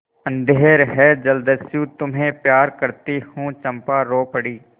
अंधेर है जलदस्यु तुम्हें प्यार करती हूँ चंपा रो पड़ी